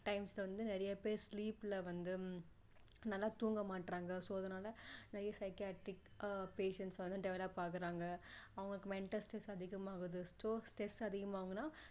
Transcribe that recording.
times ல வந்து நிறைய பேரு sleep ல வந்து நல்லா தூங்க மாட்றாங்க so அதனால நிறைய psychiatric patients வந்து develop ஆகுறாங்க அவங்களுக்கு mental stress அதிகமா ஆகுது so stress அதிகமா ஆகுனா